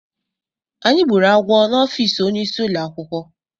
Anyị gbúrù agwọ n'ofici ọnye ịsị ụlọakwụkwọ.